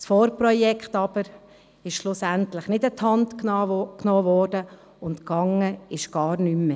Das Vorprojekt wurde jedoch nicht angepackt, und passiert ist gar nichts mehr.